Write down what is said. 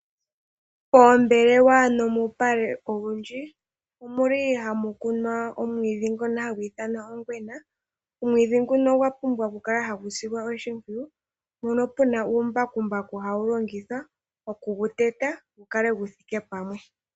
Poombelewa nomuupale owundji omu li ha mu kunwa omwiidhi ngono ha gu ithanwa ongwena. Omwiidhi nguno ogwa pumbwa okukala ha gu silwa oshimpwiyu, mpono pu na uumbakumbaku ha wu longithwa oku gu teta opo gu kale gu thike pamwe.